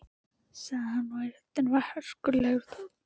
sagði hann og í röddinni var hörkulegur tónn.